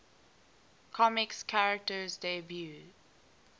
comics characters debuts